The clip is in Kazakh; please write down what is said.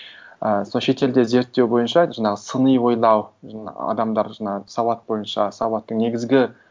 ііі сол шетелде зерттеу бойынша жаңағы сыни ойлау жаңа адамдар жаңа сауат бойынша сауаттың негізгі